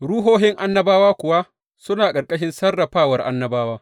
Ruhohin annabawa kuwa suna ƙarƙashin sarrafawar annabawa.